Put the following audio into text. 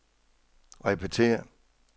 repetér